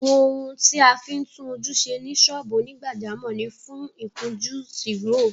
Àwọn ohun tí a fí ń tún ojú ṣe ní ṣọ́ọ́bù onígbàjámọ̀ ni fún, ìkunjú, Tìróò